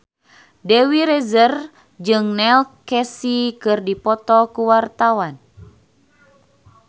Dewi Rezer jeung Neil Casey keur dipoto ku wartawan